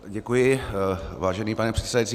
Děkuji, vážený pane předsedající.